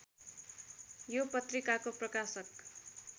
यो पत्रिकाको प्रकाशक